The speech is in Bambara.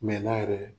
Mɛ na yɛrɛ